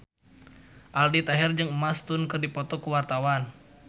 Aldi Taher jeung Emma Stone keur dipoto ku wartawan